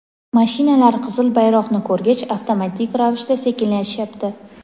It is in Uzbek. mashinalar qizil bayroqni ko‘rgach avtomatik ravishda sekinlashyapti.